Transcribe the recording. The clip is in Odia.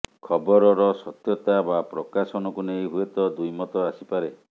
ଖବରର ସତ୍ୟତା ବା ପ୍ରକାଶନକୁ ନେଇ ହୁଏତ ଦ୍ୱିମତ ଆସିପାରେ